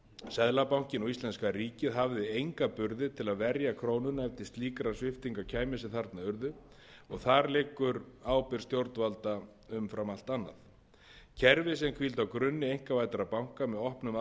seðlabankinn og íslenska ríkið hafði enga burði til að verja krónuna ef til slíkra sviptinga kæmi sem þarna urðu og þar liggur ábyrgð stjórnvalda umfram allt annað kerfi sem hvíldi á grunni einkavæddra banka með opnum aðgangi að fimm hundruð